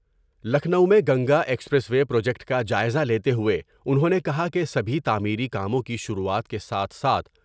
لکھنو میں Ganga expressway project کا جائزہ لیتے ہوۓ انہوں نے کہا کہ سبھی تعمیری کاموں کی شروعات کے ساتھ ساتھ ۔